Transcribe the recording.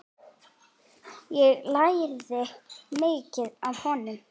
Ég lærði mikið af honum.